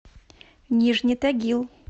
нижний тагил